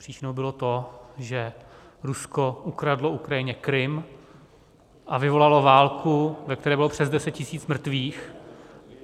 Příčinou bylo to, že Rusko ukradlo Ukrajině Krym a vyvolalo válku, ve které bylo přes 10 tisíc mrtvých.